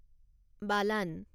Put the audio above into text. বালান